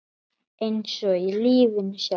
Eins og í lífinu sjálfu.